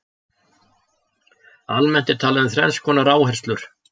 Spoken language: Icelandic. Almennt er talað um þrenns konar áherslur.